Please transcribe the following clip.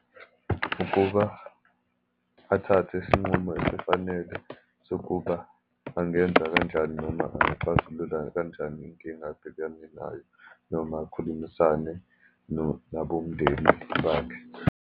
Ukuba athathe isinqumo efanele sokuba angenza kanjani, noma angiyixazulula kanjani inkinga abhekane nayo, noma akhulumisane nabomndeni bakhe.